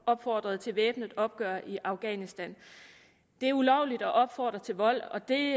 opfordrede til væbnet opgør i afghanistan det er ulovligt at opfordre til vold og det